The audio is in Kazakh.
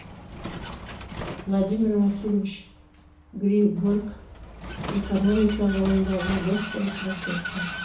владимир васильевич григорк экономика ғылымдарының докторы профессор